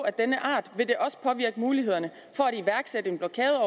af denne art vil det også påvirke mulighederne for at iværksætte en blokade